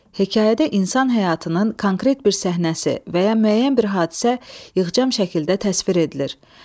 Hekayədə insan həyatının konkret bir səhnəsi və ya müəyyən bir hadisə yığcam şəkildə təsvir edilir.